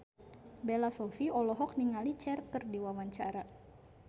Bella Shofie olohok ningali Cher keur diwawancara